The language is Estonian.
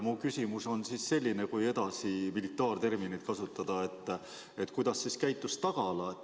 Mu küsimus on selline – kui militaarterminit kasutada –, et kuidas käitus tagala.